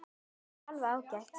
Það er alveg ágætt.